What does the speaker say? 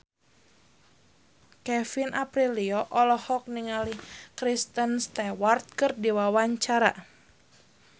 Kevin Aprilio olohok ningali Kristen Stewart keur diwawancara